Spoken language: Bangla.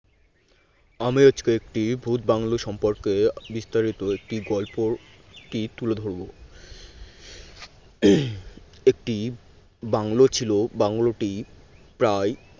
আমি আজকে একটি ভূত বাংলোর সম্পর্কে বিস্তারিত একটি গল্পটি তুলে ধরব একটি বাংলো ছিল বাংলো টি প্রায়